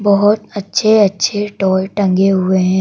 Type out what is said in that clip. बहुत अच्छे-अच्छे टॉय टंगे हुए हैं।